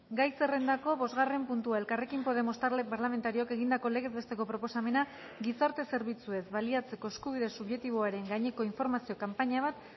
gai zerrendako bosgarren puntua elkarrekin podemos talde parlamentarioak egindako legez besteko proposamena gizarte zerbitzuez baliatzeko eskubide subjektiboaren gaineko informazio kanpaina bat